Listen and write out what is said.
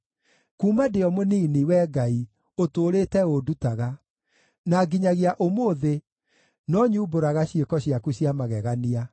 Kuuma ndĩ o mũnini, Wee Ngai, ũtũũrĩte ũndutaga, na nginyagia ũmũthĩ no nyumbũraga ciĩko ciaku cia magegania.